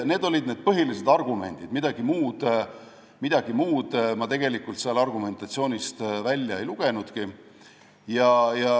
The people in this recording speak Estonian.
Need olid põhilised argumendid, midagi muud ma sellest argumentatsioonist välja ei lugenudki.